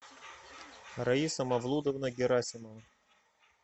раиса мавлудовна герасимова